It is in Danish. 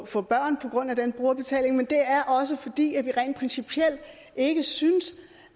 få børn på grund af den brugerbetaling men det er også fordi vi rent principielt ikke synes